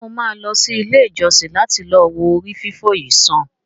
Ṣe mo ma lọ sí ilé ìjósìn lati lọ wo ori fifọ yìí sàn?